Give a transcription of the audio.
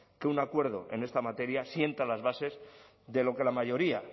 que un acuerdo en esta materia sienta las bases de lo que la mayoría